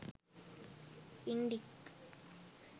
indic